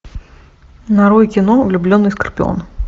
нарой кино влюбленный скорпион